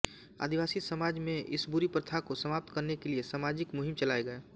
आदिवासी समाज में इस बुरी प्रथा को समाप्त करने के लिये सामाजिक मुहिम चलाये गये